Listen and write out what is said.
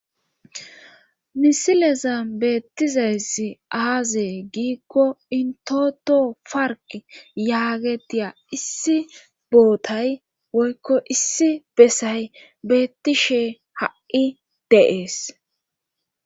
Misileza beettizayssi aazee giikko intoto park yaagetiya issi bootay woykko issi besay beettishe ha'i de'ees